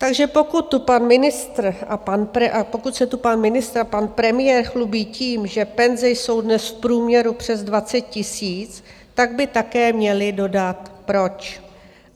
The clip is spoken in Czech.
Takže pokud se tu pan ministr a pan premiér chlubí tím, že penze jsou dnes v průměru přes 20 000, tak by také měli dodat proč.